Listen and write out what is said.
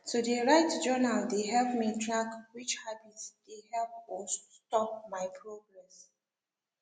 to de write journal de help me track which habits de help or stop my progress